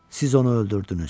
Siz onu öldürdünüz.